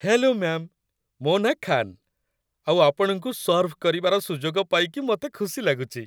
Hello ma'am, ମୋ' ନାଁ ଖାନ୍, ଆଉ ଆପଣଙ୍କୁ ସର୍ଭ କରିବାର ସୁଯୋଗ ପାଇକି ମତେ ଖୁସି ଲାଗୁଚି ।